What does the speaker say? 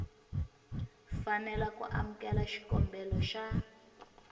fanela ku amukela xikombelo xa